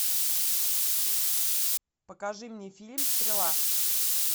покажи мне фильм стрела